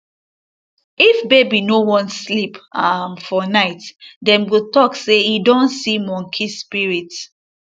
if baby no wan sleep um for night dem go talk say e don see monkey spirit